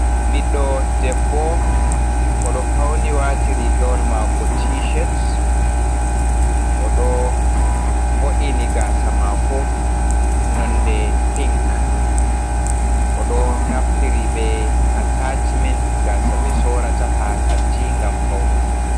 Ɓiɗɗo debbo odo fauni wati rigawal mako tishet o ɗo vo’ini gaasa mako nonde pink oɗo naftiri be atashimen gaasa ɓe sorrata ha kanti gam faunugo.